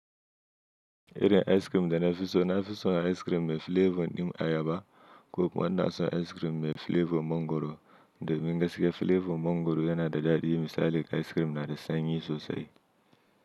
Irin ice cream da nafi so, nafi son ice cream mai flavor din ayaba ko kuma na so ice cream mai flavor mongoro, da mingaskiya flavor mongoro yana da daɗi misali ice cream na de sanyi sosai.